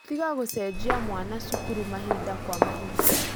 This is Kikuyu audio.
Tiga gũcenjia mwana cukuru mahinda kwa mahinda